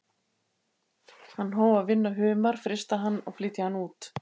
Hann hóf að vinna humar, frysta hann og flytja hann út.